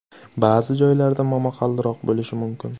Ba’zi joylarda momaqaldiroq bo‘lishi mumkin.